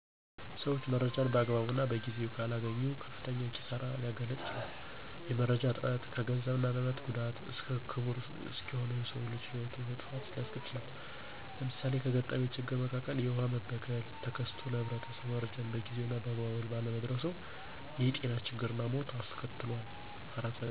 ሠዎች መረጃን በአግባቡ እና በጊዜው ካላገኙ ከፍተኛ ኪሳሪ ሊያጋጥም ይችላል። የመረጃ እጥረት ከገንዘብ እና ንብረት ጉዳት እስከ ክቡር እስከሆነው የሰው ልጅ ህይወት መጥፋት ሊያስከትል ይችላል። ለምሳሌ ከገጠመኝ ችግር መካከል የውሃ መበከል ተከስቶ ለህብረተሰቡ መረጃው በጊዜው እና በአግባቡ ባለመድረሱ የጤና ችግር እና ሞት አስከትሏል።